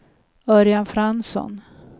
Örjan Fransson